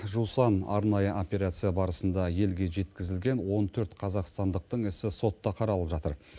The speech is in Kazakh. жусан арнайы операция барысында елге жеткізілген он төрт қазақстандықтың ісі сотта қаралып жатыр